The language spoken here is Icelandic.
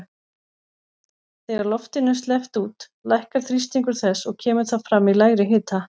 Þegar loftinu er sleppt út lækkar þrýstingur þess og kemur það fram í lægri hita.